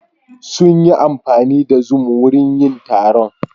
Sun yi amfani da zoom wurin yin taron.